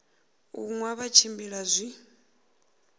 u nwa vha tshimbila zwi